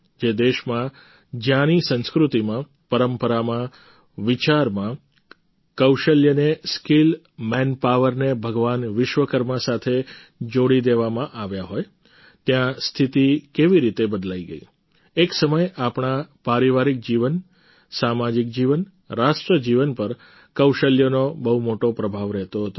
જે દેશમાં જ્યાંની સંસ્કૃતિમાં પરંપરામાં વિચારમાં કૌશલ્યને સ્કિલ મેનપાવર ને ભગવાન વિશ્વકર્મા સાથે જોડી દેવામાં આવ્યા હોય ત્યાં સ્થિતી કેવી રીતે બદલાઈ ગઈ એક સમય આપણા પારિવારિક જીવન સામાજિક જીવન રાષ્ટ્ર જીવન પર કૌશલ્યનો બહુ મોટો પ્રભાવ રહેતો હતો